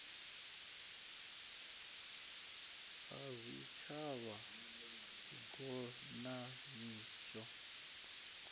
ha zwitshavha ngos na mihasho